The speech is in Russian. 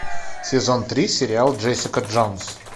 сезон три сериал джессика джонс